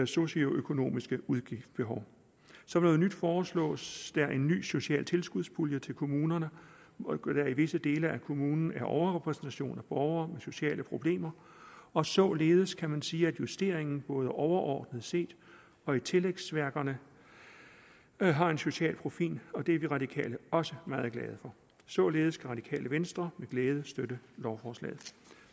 socioøkonomiske udgiftsbehov som noget nyt foreslås der en ny social tilskudspulje til kommuner hvor der i visse dele af kommunen er overrepræsentation af borgere med sociale problemer og således kan man sige at justeringen både overordnet set og i tillægsværkerne har en social profil og det er de radikale også meget glade for således kan det radikale venstre med glæde støtte lovforslaget